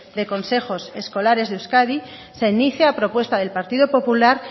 de consejos escolares de euskadi se inicia a propuesta del partido popular